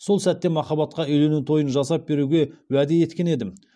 сол сәтте махаббатқа үйлену тойын жасап беруге уәде еткен едім